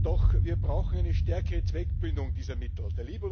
Doch wir brauchen eine stärkere Zweckbindung dieser Mittel.